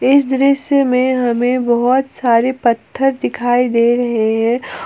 इस दृश्य में हमें बहोत सारे पत्थर दिखाई दे रहे हैं।